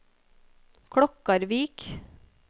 Klokkarvik